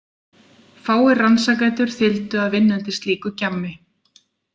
Fáir rannsakendur þyldu að vinna undir slíku gjammi.